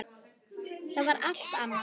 Það var allt annað.